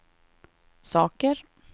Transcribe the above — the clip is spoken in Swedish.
saker